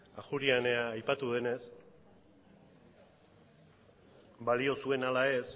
ajuria enea aipatu denez balio zuen ala ez